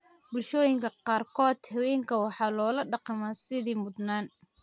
Bulshooyinka qaarkood, haweenka waxaa loola dhaqmaa sidii mudnaan.